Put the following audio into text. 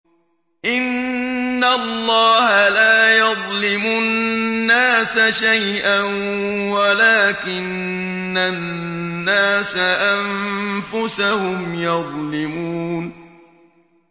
إِنَّ اللَّهَ لَا يَظْلِمُ النَّاسَ شَيْئًا وَلَٰكِنَّ النَّاسَ أَنفُسَهُمْ يَظْلِمُونَ